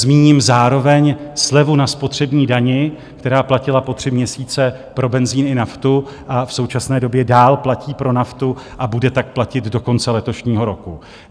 Zmíním zároveň slevu na spotřební dani, která platila po tři měsíce pro benzin i naftu a v současné době dál platí pro naftu a bude tak platit do konce letošního roku.